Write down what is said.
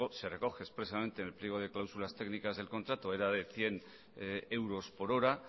así se recoge expresamente en el pliego de cláusulas técnicas del contrato era de cien euros por hora